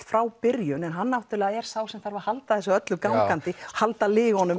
frá byrjun en hann er sá sem þarf að halda þessu öllu gangandi halda